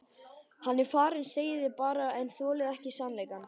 Hann er farinn segið þið bara en þolið ekki sannleikann.